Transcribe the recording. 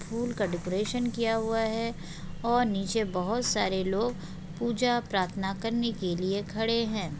फूल का डेकोरेशन किया हुआ है और नीचे बहुत सारे लोग पूजा प्रार्थना करने के लिए खड़े हैं।